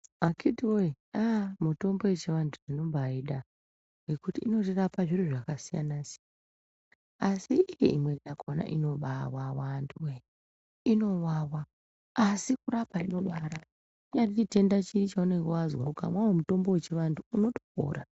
Akhiti voye aa mitombo yechiantu tinobaida nekuti inotirapa zviro zvakasiyana siyana. Asi imwe yakona ino bavava antu voye inobavava, asi kurapa inobarapa kunyazi chitenda chiye cheunonge vazwa ukamwe mutombo uno topora.